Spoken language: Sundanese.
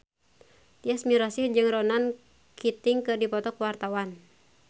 Tyas Mirasih jeung Ronan Keating keur dipoto ku wartawan